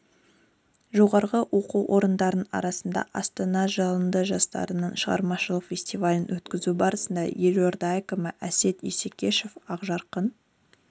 жоғары оқу орындарының арасында астана жалыны жастардың шығармашылық фестивалін өткізу барысында елорда әкімі әсет исекешев ақжарқын